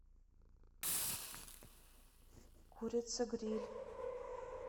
курица гриль